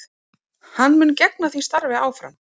Hann mun gegna því starfi áfram